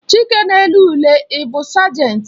Chike na-ele ule ị bụ sajenti